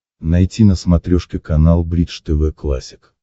найти на смотрешке канал бридж тв классик